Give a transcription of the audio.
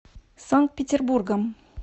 санкт петербургом